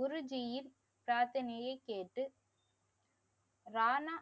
குருஜீயின் பிராத்தனையை கேட்டு ரானா .